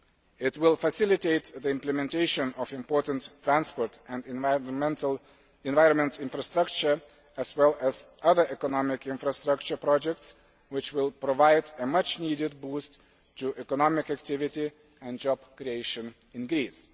It will facilitate the implementation of important transport and environment infrastructure, as well as other economic infrastructure projects which will provide a much needed boost to economic activity and job creation in Greece.